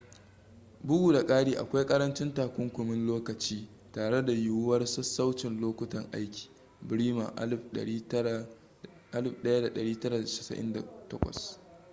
bugu da kari akwai karancin takunkumin lokaci tare da yiwuwar sassaucin lokutan aiki. bremer 1998